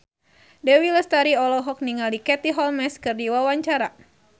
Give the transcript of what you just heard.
Dewi Lestari olohok ningali Katie Holmes keur diwawancara